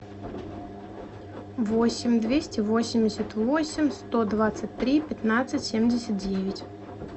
восемь двести восемьдесят восемь сто двадцать три пятнадцать семьдесят девять